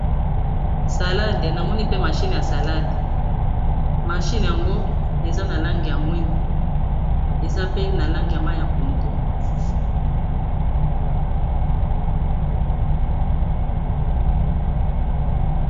salade namoni pe mashine ya salade mashine yango eza na lange ya mwindo eza pe na lange ya mai ya pondo